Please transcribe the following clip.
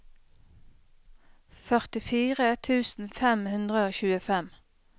førtifire tusen fem hundre og tjuefem